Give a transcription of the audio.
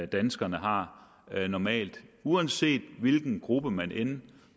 danskerne har normalt uanset hvilken gruppe man end